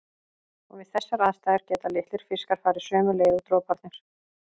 Og við þessar aðstæður geta litlir fiskar farið sömu leið og droparnir.